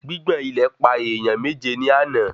Gbigbọn ilẹ̀ pa èèyàn méje ní àna